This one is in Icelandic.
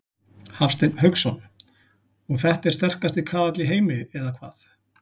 Hafsteinn Hauksson: Og þetta er sterkasti kaðall í heimi eða hvað?